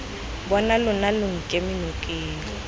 bona lona lo nkeme nokeng